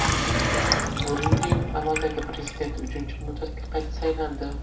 Burundining amaldagi prezidenti uchinchi muddatga qayta saylandi .